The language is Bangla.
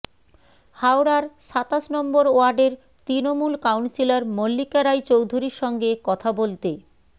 হাওড়ার সাতাশ নম্বর ওয়ার্ডের তৃণমূল কাউন্সিলর মল্লিকা রায় চৌধুরীর সঙ্গে কথা বলতে